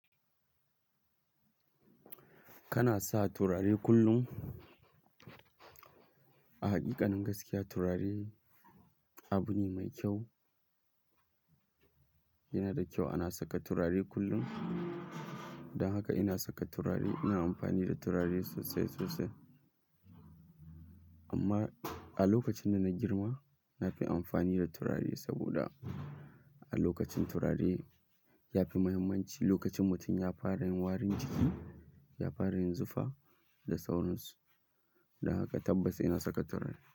Kana sa turare kullum? A haƙiƙanin gaskiya turare abune mai kyau. Yanada kyau ana saka turare kullum. Don haka ina saka turare, ina amfani da turare sosai sosai. Amma a lokacin da na girma na fi amfani da turare saboda a lokacin turare yafi muhimmanci lokacin mutum ya fara yin warin jiki, ya fara yin zufa da sauransu. Don haka tabbas ina saka turare.